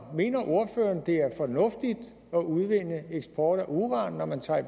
mener ordføreren det er fornuftigt at udvinde og have eksport af uran når man tager